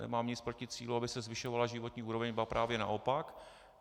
Nemám nic proti cíli, aby se zvyšovala životní úroveň, ba právě naopak.